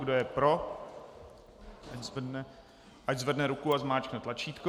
Kdo je pro, ať zvedne ruku a zmáčkne tlačítko.